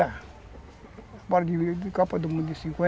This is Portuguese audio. A Copa do Mundo de cinquenta